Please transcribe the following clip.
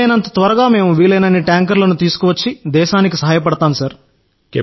వీలైనంత త్వరగా మేము వీలైనన్ని ట్యాంకర్లను తీసుకువచ్చి దేశానికి సహాయపడతాం సార్